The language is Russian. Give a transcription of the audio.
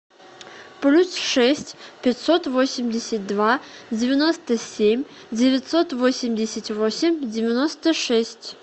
плюс шесть пятьсот восемьдесят два девяносто семь девятьсот восемьдесят восемь девяносто шесть